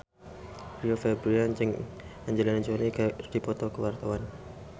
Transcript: Rio Febrian jeung Angelina Jolie keur dipoto ku wartawan